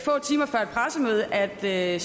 pressemøde er det er